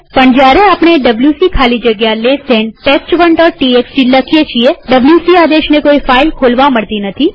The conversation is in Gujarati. પણ જયારે આપણે ડબ્લ્યુસી ખાલી જગ્યા ડાબા ખૂણાવાળો કૌંસ test1ટીએક્સટી લખીએ છીએwc આદેશને કોઈ ફાઈલ ખોલવા મળતી નથી